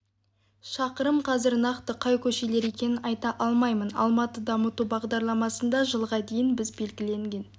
шақырым қазір нақты қай көшелер екенін айта алмаймын алматы дамыту бағдарламасында жылға дейін біз белгіленген